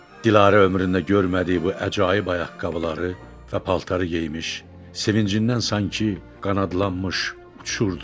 Dilarə ömründə görmədiyi bu əcaib ayaqqabıları və paltarı geyinmiş, sevincindən sanki qanadlanmış uçurdu.